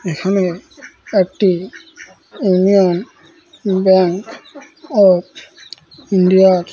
এখানে একটি Union Bank of India -এর--